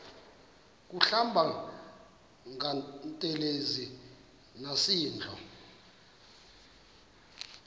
kuhlamba ngantelezi nasidlo